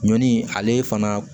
Ɲɔni ale fana